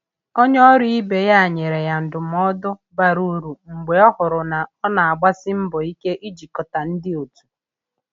Onye ọrụ ibe ya nyere ya ndụmọdụ bara uru mgbe ọ hụrụ na ọ na-agbasi mbọ ike ijikọta ndị otu.